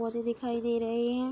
पौधे दिखाई दे रहे हैं।